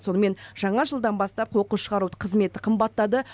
сонымен жаңа жылдан бастап қоқыс шығару қызметі қымбаттады